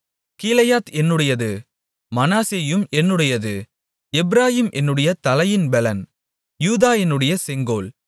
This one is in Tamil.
கீலேயாத் என்னுடையது மனாசேயும் என்னுடையது எப்பிராயீம் என்னுடைய தலையின் பெலன் யூதா என்னுடைய செங்கோல்